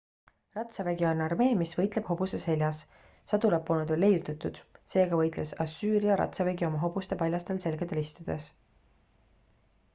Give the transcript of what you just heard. ratsavägi on armee mis võitleb hobuse seljas sadulat polnud veel leiutatud seega võitles assüüria ratsavägi oma hobuste paljastel selgadel istudes